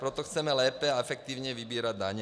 Proto chceme lépe a efektivně vybírat daně.